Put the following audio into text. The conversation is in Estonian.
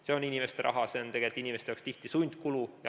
See on inimeste raha, see on tegelikult inimestel tihti sundkulu.